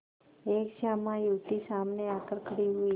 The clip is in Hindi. एक श्यामा युवती सामने आकर खड़ी हुई